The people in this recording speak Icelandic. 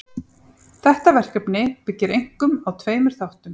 Þetta verkefni byggir einkum á tveimur þáttum.